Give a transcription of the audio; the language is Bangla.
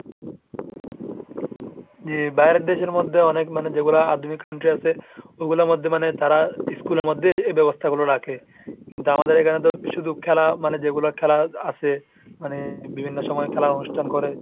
যে বাইরের দেশের মধ্যে অনেক মানে যেগুলা আধুনিক country আছে ওগুলার মধ্যে মানে তারা school এর মধ্যে এই ব্যবস্থাগুলো রাখে, কিন্তু আমাদের এখানে তো শুধু খেলা মানে যেগুলা খেলা আছে, মানে বিভিন্ন সময়ে খেলার অনুষ্ঠান করে।